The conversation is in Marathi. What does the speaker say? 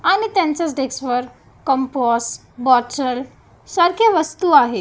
आणि त्यांच्याच डेस्क वर कंपास बॉटल सारखे वस्तू आहेत.